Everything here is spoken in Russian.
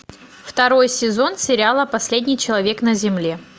второй сезон сериала последний человек на земле